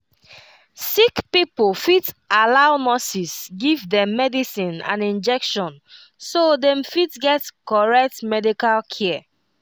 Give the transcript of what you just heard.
sick pipo fit allow nurses give dem medicine and injection so dem fit get correct medical care